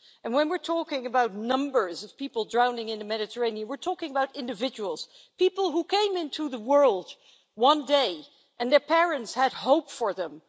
And when we're talking about numbers of people drowning in the Mediterranean, we're talking about individuals people who came into the world one day, and their parents had hope for them.